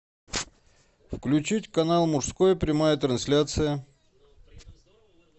включить канал мужской прямая трансляция